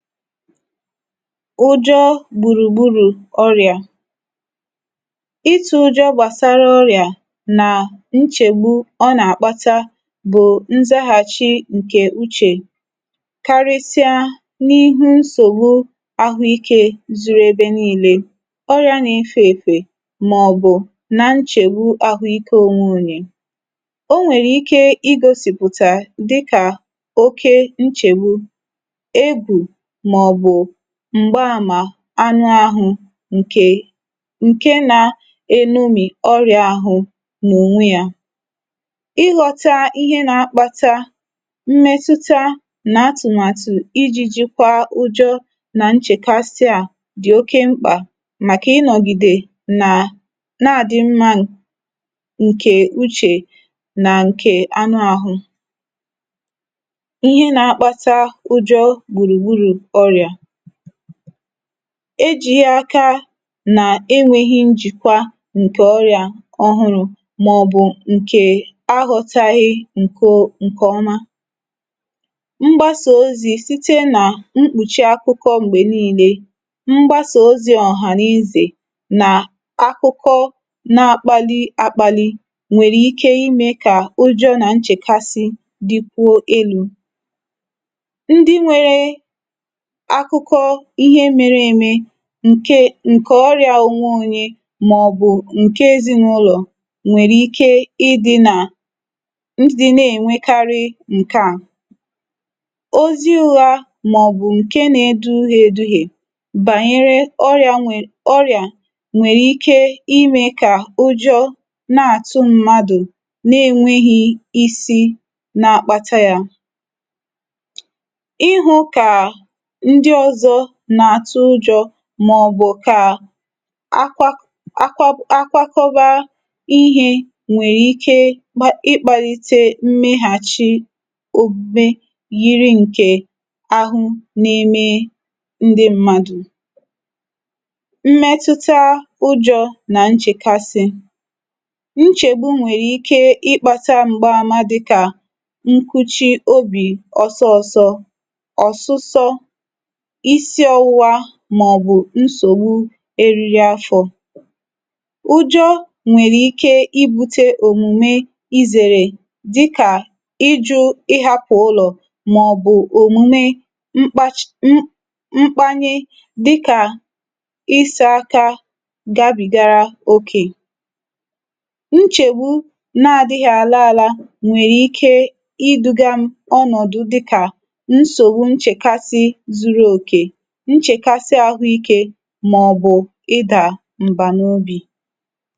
ụjọ gbùrù gburù ọrị̀à. ịtụ̄ ụjọ gbàsara ọrị̀à, nà nchègbu ọ nà àkpata bụ̀ nzakàchị ǹkè uchè, karịsịa n’ihu nsògbu ahụ ikē zuru ebe nille, ọrị̀à na efē èfè, mà ọ̀ bụ̀ na nchègbu ahụ ike onwe onye. o nwèrè ike ị gosị̀pụ̀tà dịkà oke nchègbu, egwù, mà ọ̀ bụ̀ m̀gba àmà anụ ahụ, ǹkè ǹke na enomì ọrị̀à ahụ n’ònwe yā. ịghọ̄ta ihe na akpata mmẹtụta nà atụ̀màtụ̀ ijī jịkwa ụjọ nà nchẹkasị à dị̀ oke mkpà, màkà ị nọ̀gìdè nà na àdị mmā ǹkè uchè, nà ǹkè anụ ahụ. ihe na akpata ụjọ gbùrù gburù ọ̀rị̀à. e jighi aka nà enweghi njìkwa ǹkẹ̀ ọrị̀à ọhụrụ, mà ọ̀ bụ̀ ǹkè aghọtaghị ǹke ǹkè ọma. mgbasà ozī site nà mkpùchi akụkọ m̀gbè nille. mgbasà ozī ọ̀hànezè, nà akụkọ na akpanị akpani, nwẹ̀rẹ̀ ike ịmẹ̄ kà ụjọ̄ nà nchẹ̀kasị dịkwuo elū. ndị nwẹrẹ akụkọ ihe mere eme, ǹke ǹkẹ̀ ọrịā onwe onye, mà ọ̀ bụ̀ ǹke ezịnụlọ̀ nwèrè ike ị dịnà, ị dịna ènwekarị ǹkẹ à. ozi ụgha, mà ọ̀ bụ̀ ǹkẹ na edughie edughie, bànyère ọrị nwè ọrịà nwe ike ịmẹ kà ụjọ nà àtụ mmadù, na enweghi isi na akpata ya. ịhụ̄ kà ndị ọzọ nà àtụ ụjọ̄, mà ọ̀ bụ̀ kà akwa akwakọbara ihē nwẹ̀ ike ịkpālite mmẹghàchi omume, yiri ǹkẹ̀ ahụ na eme ndị mmadù. mmẹtụta ụjọ̄ nà nchèkasị. nchègbu nwèrè ike ị kpāta m̀gbàma dịkà nkuchi obì ọsọ ọsọ, ọ̀sụsọ, isi ọwụwa, mà ọ̀ bụ̀ nsògbu eriri afọ̄. ujọ nwẹ̀rẹ ike ibūte òmùme izèrè, dịkà ịjụ̄ ịhapụ ụlọ̀, mà ọ̀ bụ̀ òmùme mkpachi mkpanye, dịkà ịsā aka gabị̀gara okè. nchègbu na adịghị àla ala nwẹ̀rẹ ike ị dūga ọnọ̀dụ dịkà nsògbu nchèkasị zuru òkè, nchèkasị ahụ ikē, mà ọ̀ bụ̀ ịdà m̀bà n’ubì.